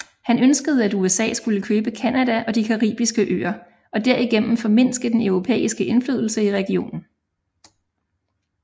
Han ønskede at USA skulle købe Canada og de caribiske øer og derigennem formindske den europæiske indflydelse i regionen